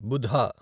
బుధ